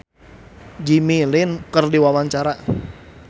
Sam Bimbo olohok ningali Jimmy Lin keur diwawancara